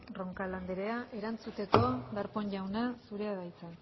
roncal anderea erantzuteko darpón jauna zurea da hitza